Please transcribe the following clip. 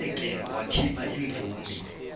ngeke wakhipha imvume